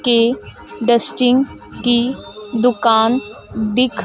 की डस्टिंग की दुकान दिख--